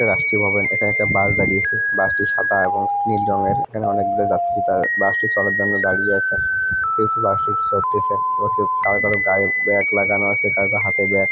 রাষ্ট্রীয় ভবন এখানে একটা বাস দাঁড়িয়েছে। বাস টি সাদা এবং নীল রঙের এবং অনেকগুলি যাত্রী তা বাস টি চড়ার জন্য দাঁড়িয়ে আছেন। কেউ কেউ বাস টি চড়তেছেন ও কেউ কারো কারো গায়ে ব্যাগ লাগানো আছে। কারো করো হাতে ব্যাগ ।